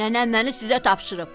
Nənəm məni sizə tapşırıb.